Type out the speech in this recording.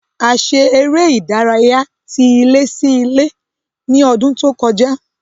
A ṣe eré ìdárayá tí ilé sí ilé ní ọdún tó kọjá